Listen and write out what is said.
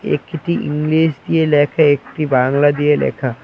একটি ইংলিশ দিয়ে লেখা একটি বাংলা দিয়ে লেখা।